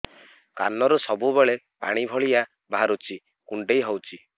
କାନରୁ ସବୁବେଳେ ପାଣି ଭଳିଆ ବାହାରୁଚି କୁଣ୍ଡେଇ ହଉଚି